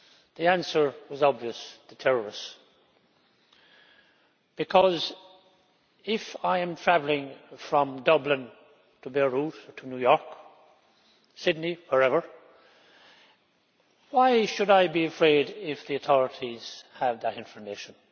The answer was obvious the terrorists because, if I am traveling from Dublin to Beirut, New York, Sydney, wherever, why should I be afraid if the authorities have that information?